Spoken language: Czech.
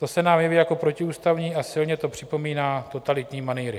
To se nám jeví jako protiústavní a silně to připomíná totalitní manýry.